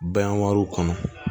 Bayɛlɛmaliw kɔnɔ